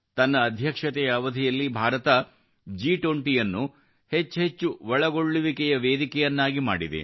ತನ್ನ ಅಧ್ಯಕ್ಷತೆಯ ಅವಧಿಯಲ್ಲಿ ಭಾರತವು G20 ಅನ್ನು ಹೆಚ್ಚೆಚ್ಚು ಒಳಗೊಳ್ಳುವಿಕೆಯ ವೇದಿಕೆಯನ್ನಾಗಿ ಮಾಡಿದೆ